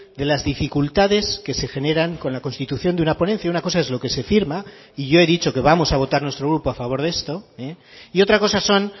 de las dificultades que se generan con la constitución de una ponencia una cosa es lo que se firma y yo he dicho que vamos a votar nuestro grupo a favor de esto y otra cosa son